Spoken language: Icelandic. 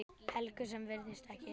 Helgu sem virðist ekkert hissa.